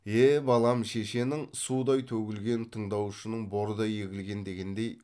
е балам шешенің судай төгілген тыңдаушың бордай егілген дегендей